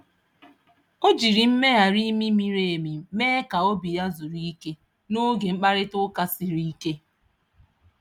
O jiri mmegharị imi miri emi mee ka obi ya zuru ike n’oge mkparịta ụka siri ike.